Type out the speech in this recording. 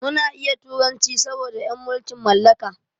Muna iya turanci saboda en mulkin mallaka.